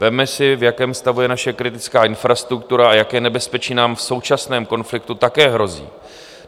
Vezměme si, v jakém stavu je naše kritická infrastruktura a jaké nebezpečí nám v současném konfliktu také hrozí.